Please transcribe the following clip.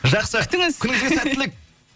жақсы күтіңіз күніңізге сәттілік